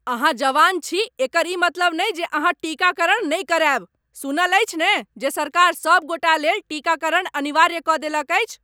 अहाँ जवान छी एकर ई मतलब नहि जे अहाँ टीकाकरण नहि करायब। सुनल अछि ने जे सरकार सभ गोटालेल टीकाकरण अनिवार्य कऽ देलक अछि?